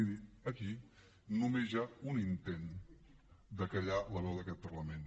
miri aquí només hi ha un intent de fer callar la veu d’aquest parlament